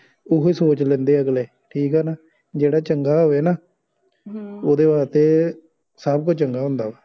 ਉਹੀ ਸੋਚ ਲੈਂਦੇ ਅਗਲੇ ਠੀਕ ਆ ਨਾ ਜਿਹੜਾ ਚੰਗਾ ਹੋਵੇ ਨਾ ਹਾਂ ਓਹਦੇ ਵਾਸਤੇ ਸਬ ਕੁਛ ਚੰਗਾ ਹੁੰਦਾ